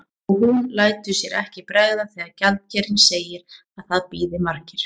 Og hún lætur sér ekki bregða þegar gjaldkerinn segir að það bíði margir.